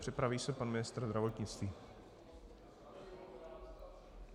Připraví se pan ministr zdravotnictví.